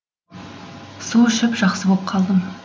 су ішіп жақсы боп қалдым